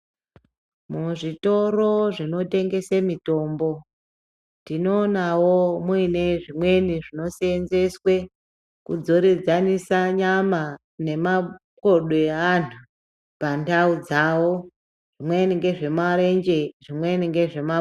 Muzvitoro zvinotengese mitombo tinoonavo muine zvimweni zvinosenzeswe kudzoredzanisa nyama nemakodo evantu pandau dzavo. Zvimweni ngezvemarenje, zvimweni ngezvemaku...